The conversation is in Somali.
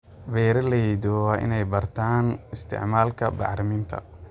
Beeralayda waa inay bartaan isticmaalka bacriminta.